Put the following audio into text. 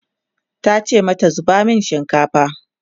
tace mata 'zuba masu shinkafa!"